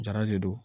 Jara de don